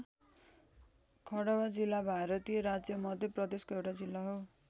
खँडवा जिल्ला भारतीय राज्य मध्य प्रदेशको एउटा जिल्ला हो।